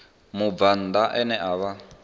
mubvann ḓa ane a vha